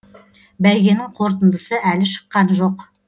бәйгенің қорытындысы әлі шыққан жоқ